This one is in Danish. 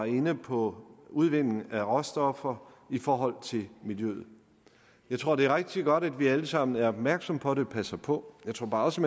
inde på udvinding af råstoffer i forhold til miljøet jeg tror det er rigtig godt at vi alle sammen er opmærksomme på det og passer på jeg tror bare også